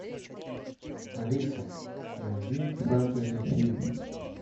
алиса найди фэнтези фильм